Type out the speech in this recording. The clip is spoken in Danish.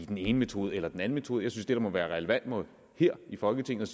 den ene metode eller den anden metode jeg synes det må være relevant her i folketinget